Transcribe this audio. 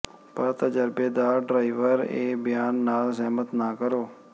ਪਰ ਤਜਰਬੇਕਾਰ ਡਰਾਈਵਰ ਇਹ ਬਿਆਨ ਨਾਲ ਸਹਿਮਤ ਨਾ ਕਰੋ